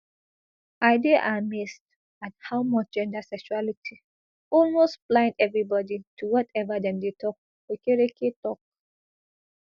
i dey amazed at how much gender sexuality almost blind evribodi to wateva dem dey tok okereke tok